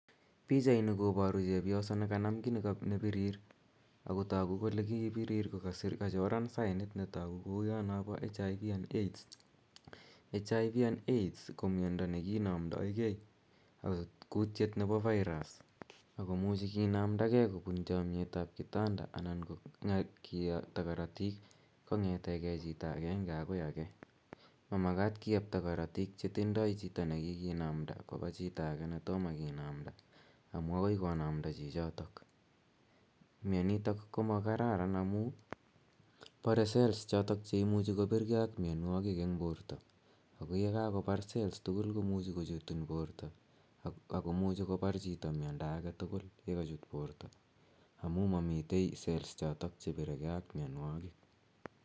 Pichaini koparu chepyoso ne kanam ki ne pirir ako tagu kole kii pirit ko kachoran sainit ne tagu kouya napa HIV and AIDS. HIV and AIDS ko mianda ne kinamdaigei kutiet nepo virus ako muchi kinamdagei kopun chamyet ap kitanda anan ko ya kiyaptai karatik kong'ete chito agenge akoi age. Ma makat kiyapta karatik chetindaib chito ne kikinamda kopa chito age ne toma kinamda amu akoi konamda chichotok. Mianitok ko ma kararan amu pare cells chotok che imuchi kopirgei ak mianwogik eng' porto. Ako ye kakopar cells tugul ko muchi kochutin porto, ako muchi kopar chito mindo age tugul ye kachut porto amu mamitei cells chotok che pire gei ak mianwagik.